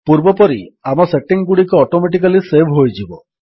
ପୂର୍ବପରି ଆମ ସେଟିଙ୍ଗ୍ ଗୁଡ଼ିକ ଅଟୋମେଟିକାଲୀ ସେଭ୍ ହୋଇଯିବ